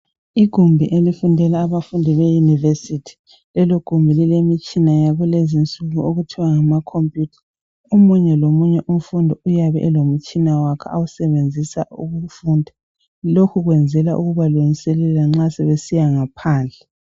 Igumbi lokufundela labafundi be university. Lelo gumbi lilemitshina yakulezi nsuku okuthwa ngama computer, omunye omunye umfundi uyabe elomtshina wakhe awusebenzisa ukufunda. Lokhu kwenzelwa ukuba lungiselela nxa sebesiya ngaphandle.